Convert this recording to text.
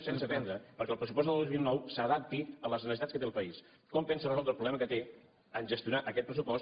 pensa prendre perquè el pressupost del dos mil nou s’adapti a les necessitats que té el país com pensa resoldre el problema que té a gestionar aquest pressupost